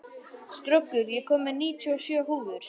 Skröggur, ég kom með níutíu og sjö húfur!